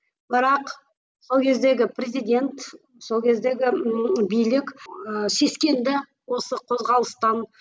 бірақ сол кездегі президент сол кездегі ммм билік ііі сескенді осы қозғалыстан